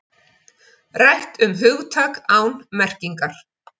Rætt um hugtak án merkingar